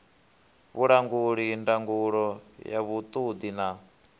vhulanguli ndangulo ya vhuṱundi na